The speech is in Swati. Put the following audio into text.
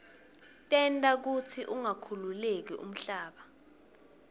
tenta kutsi ungakhukhuleki umhlaba